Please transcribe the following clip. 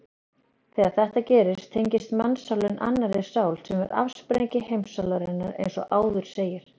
Þegar þetta gerist tengist mannssálin annarri sál sem er afsprengi heimssálarinnar eins og áður segir.